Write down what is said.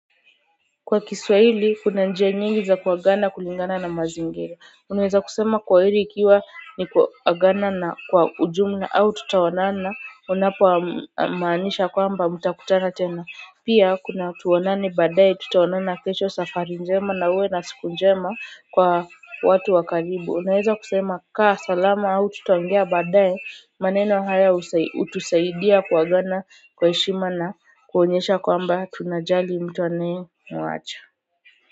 Kwa kiswahili kuna njia nyingi za kuagana kulingana na mazingira unaweza kusema kwaheri ikiwa ni kuagana na kwa ujumla au tutaonana unapoa maanisha kwamba mtakutana tena pia kuna tuonane baadae tutaonana kesho safari njema na uwe na siku njema kwa watu wa karibu unaweza kusema kaa salama au tutaongea baadae maneno haya hutusaidia kuagana kwa heshima na kuonyesha kwamba tunajali mtu anayemuacha.